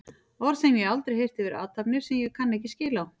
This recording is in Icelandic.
Orð sem ég hef aldrei heyrt yfir athafnir sem ég kann ekki skil á.